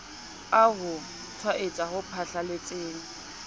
a ho tshwaetsa ho phatlalletseng